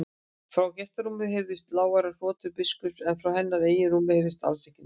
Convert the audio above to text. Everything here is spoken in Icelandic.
Frá gestarúminu heyrðust lágværar hrotur biskupsins en frá hennar eigin rúmi heyrðist alls ekki neitt.